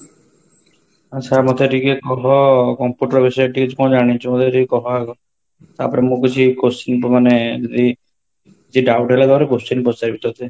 ଆଛା ମତେ ଟିକେ କହ computer ବିଷୟରେ ଟିକେ କ'ଣ ଜାଣିଛୁ ମତେ ଟିକେ କହ ଆଗ ତାପରେ ମୁଁ କିଛି question ମାନେ ଏ କିଛି doubt ହେଲା ତାପରେ question ପଚାରିବି ତତେ